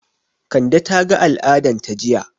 Kande ta ga al'adan ta jiya